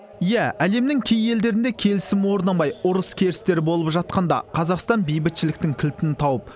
иә әлемнің кей елдерінде келісім орнамай ұрыс керістер болып жатқанда қазақстан бейбітшіліктің кілтін тауып